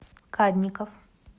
кадников